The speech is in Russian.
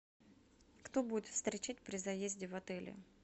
кто будет встречать при заезде в отеле